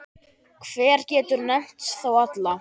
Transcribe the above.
Hver getur nefnt þá alla?